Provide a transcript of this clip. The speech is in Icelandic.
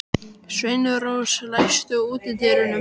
Sveinrós, læstu útidyrunum.